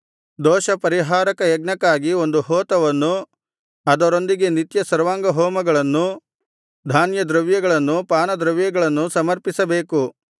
ದೋಷಪರಿಹಾರಕ ಯಜ್ಞಕ್ಕಾಗಿ ಒಂದು ಹೋತವನ್ನೂ ಅದರೊಂದಿಗೆ ನಿತ್ಯ ಸರ್ವಾಂಗಹೋಮಗಳನ್ನೂ ಧಾನ್ಯದ್ರವ್ಯಗಳನ್ನೂ ಪಾನದ್ರವ್ಯಗಳನ್ನೂ ಸಮರ್ಪಿಸಬೇಕು